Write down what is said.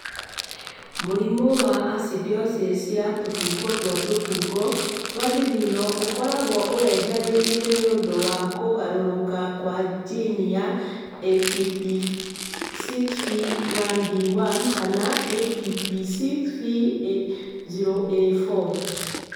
Mũrimũ wa acidosis ya tũbungo twa tũbungo twa thithino ũkoragwo ũreharĩirie nĩ ũndũ wa kũgarũrũka kwa jini ya ATP6V1B1 kana ATP6V0A4.